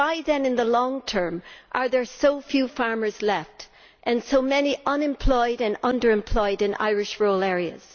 But why then, in the long term, are there so few farmers left and so many unemployed and under employed in Irish rural areas?